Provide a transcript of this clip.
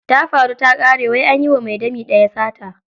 Tafaru takare wai anyiwa mai dami daya sata.